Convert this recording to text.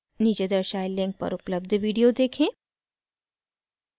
नीचे दर्शाये link पर उपलब्ध video देखें